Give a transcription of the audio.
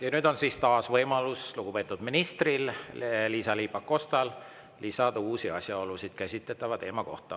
Ja nüüd on taas võimalus lugupeetud ministril Liisa-Ly Pakostal lisada uusi asjaolusid käsitletava teema kohta.